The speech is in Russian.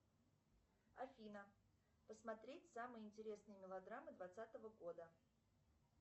афина посмотреть самые интересные мелодрамы двадцатого года